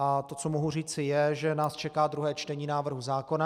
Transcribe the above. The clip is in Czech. A to, co mohu říci, je, že nás čeká druhé čtení návrhu zákona.